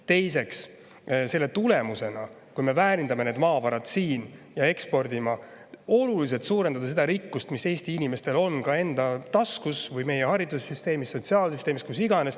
Teiseks, kui me väärindame maavarasid siin ja ekspordime neid, siis saame oluliselt suurendada rikkust, mis Eesti inimestel on enda taskus, meie haridussüsteemis, sotsiaalsüsteemis või kus iganes.